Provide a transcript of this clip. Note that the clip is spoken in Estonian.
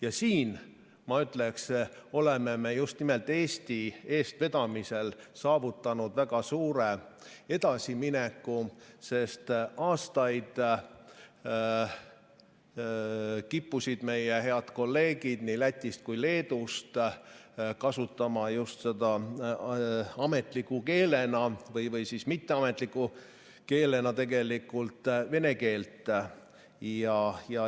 Ja siin, ma ütleksin, oleme me just nimelt Eesti eestvedamisel saavutanud väga suure edasimineku, sest aastaid kippusid meie head kolleegid nii Lätist kui ka Leedust kasutama just ametliku keelena – või siis tegelikult mitteametliku keelena – vene keelt.